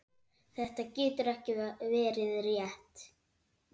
Þetta getur ekki verið rétt.